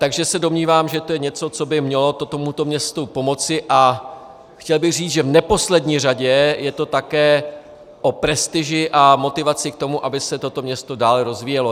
Takže se domnívám, že to je něco, co by mělo tomuto městu pomoci, a chtěl bych říci, že v neposlední řadě je to také o prestiži a motivaci k tomu, aby se toto město dále rozvíjelo.